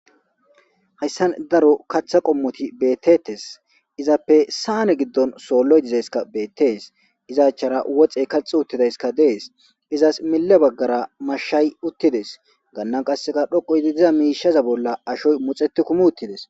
Hayssan daro katha qommoti beetettees. Izappe saane giddon sooloy dizayssika beetees. Iza achara woxey kaxi uttidayssika dees. Izas mille baggara mashshay uttides. Gannan qassi dhoqu gidi diza miisheza bolla ashoy milixetti kumo uttis.